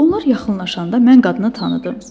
Onlar yaxınlaşanda mən qadını tanıdım.